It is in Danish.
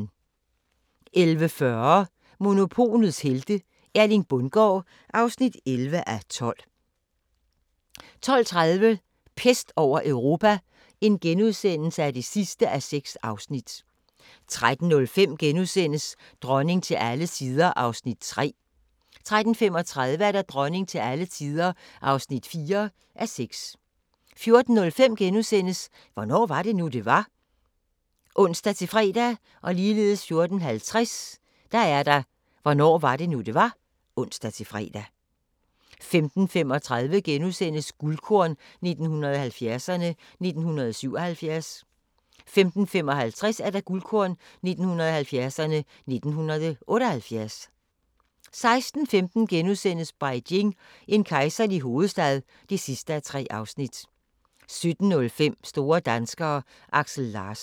11:40: Monopolets helte - Erling Bundgaard (11:12) 12:30: Pest over Europa (6:6)* 13:05: Dronning til alle tider (3:6)* 13:35: Dronning til alle tider (4:6) 14:05: Hvornår var det nu, det var? *(ons-fre) 14:50: Hvornår var det nu, det var? (ons-fre) 15:35: Guldkorn 1970'erne: 1977 * 15:55: Guldkorn 1970'erne: 1978 16:15: Beijing – en kejserlig hovedstad (3:3)* 17:05: Store danskere: Aksel Larsen